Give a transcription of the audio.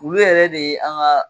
Wulu yɛrɛ de ye an ka